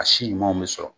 A si ɲumanw bɛ sɔrɔ